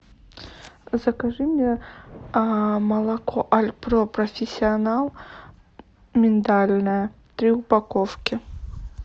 закажи мне молоко альпро профессионал миндальное три упаковки